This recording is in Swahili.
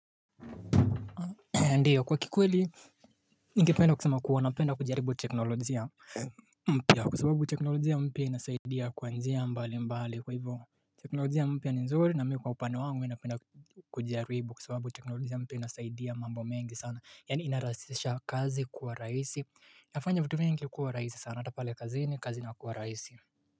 Ndiyo kwa kikweli ningependa kusema kuwa napenda kujaribu teknolojia mpya kwa sababu teknolojia mpya inasaidia kwa njia mbalimbali kwa hivyo teknolojia mpya ni nzuri na mimi kwa upande wangu mimi napenda kujaribu kwa sababu teknolojia mpya inasaidia mambo mengi sana yani inarahisisha kazi kuwa rahisi inafanya vitu vingi kuwa rahisi sana hata pale kazini kazi inakuwa rahisi.